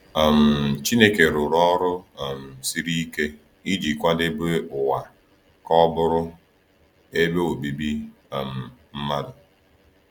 um Chineke rụrụ ọrụ um siri ike iji kwadebe ụwa ka ọ bụrụ ebe obibi um mmadụ.